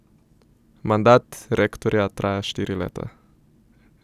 Mandat rektorja traja štiri leta.